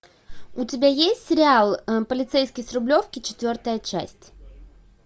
у тебя есть сериал полицейский с рублевки четвертая часть